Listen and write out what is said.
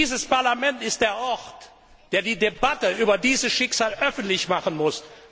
Dieses Parlament ist der Ort, der die Debatte über dieses Schicksal öffentlich machen muss.